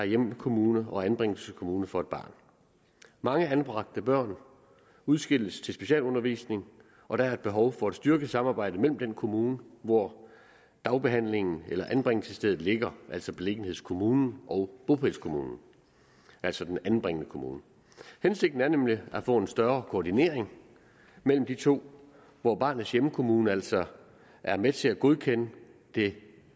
hjemkommune og anbringelseskommune for et barn mange anbragte børn udskilles til specialundervisning og der er behov for at styrke samarbejdet mellem den kommune hvor dagbehandlingen eller anbringelsesstedet ligger altså beliggenhedskommunen og bopælskommunen altså den anbringende kommune hensigten er nemlig at få en større koordinering mellem de to hvor barnets hjemkommune altså er med til at godkende det